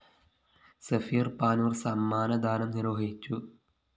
സഫീര്‍ പാനൂര്‍ സമ്മാനദാനം നിര്‍വ്വഹിച്ചു